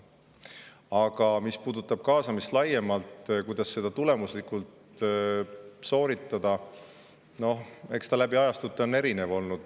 Aga mis puudutab kaasamist laiemalt, kuidas seda tulemuslikult sooritada, noh, eks see läbi ajastute on erinev olnud.